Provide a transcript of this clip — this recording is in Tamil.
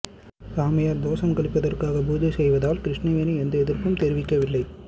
சாமியார் தோசம் கழிப்பதற்காக பூஜை செய்வதால் கிருஷ்ணவேணி எந்த எதிர்ப்பும் தெரிவிக்கவில்லை